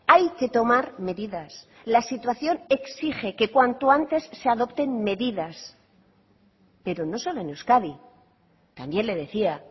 hay que tomar medidas la situación exige que cuanto antes se adopten medidas pero no solo en euskadi también le decía